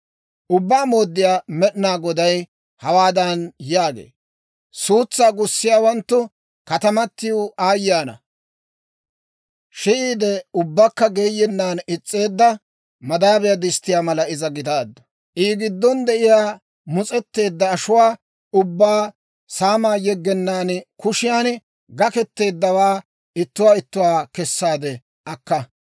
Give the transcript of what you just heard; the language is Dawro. «Ubbaa Mooddiyaa Med'inaa Goday hawaadan yaagee; ‹Suutsaa gussiyaawanttu katamatiw aayye ana! Shi'iide ubbakka geeyennan is's'eedda madaabiyaa disttiyaa mala iza gidaaddu. I giddon de'iyaa mus'etteedda ashuwaa ubbaa saamaa yeggenaan kushiyaan gaketteeddawaa, ittuwaa ittuwaa kessaade akka.